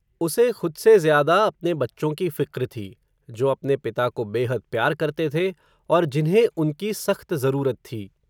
उसे, खुद से ज़्यादा, अपने बच्चों की फ़िक्र थी, जो, अपने पिता को बेहद प्यार करते थे, और जिन्हे उनकी, सख्त ज़रूरत थी